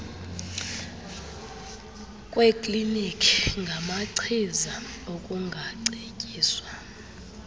kweeklinikhi ngamachiza ukungacetyiswa